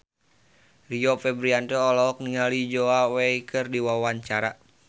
Rio Febrian olohok ningali Zhao Wei keur diwawancara